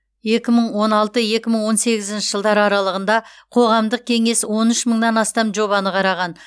екі мың он алты екі мың он сегізінші жылдар аралығында қоғамдық кеңес он үш мыңнан астам жобаны қараған